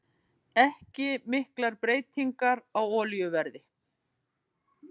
Ekki miklar breytingar á olíuverði